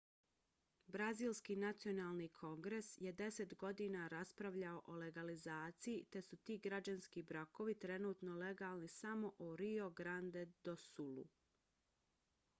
brazilski nacionalni kongres je 10 godina raspravljao o legalizaciji te su ti građanski brakovi trenutno legalni samo u rio grande do sulu